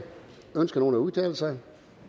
ønsker nogen at udtale sig